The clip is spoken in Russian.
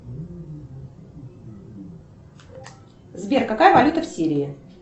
сбер какая валюта в сирии